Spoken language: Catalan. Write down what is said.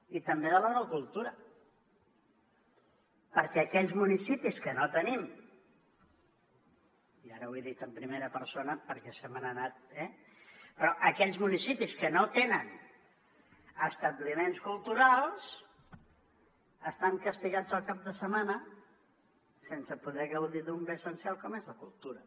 i també de la no cultura perquè aquells municipis que no tenim i ara ho he dit en primera persona perquè se me n’ha anat eh però aquells municipis que no tenen establiments culturals estan castigats el cap de setmana sense poder gaudir d’un bé essencial com és la cultura